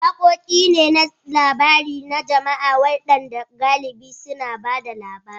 Waƙoƙi ne na labari na jama'a waɗanda galibi suna ba da labari.